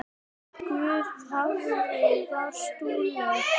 Guð hvað þú varst dugleg.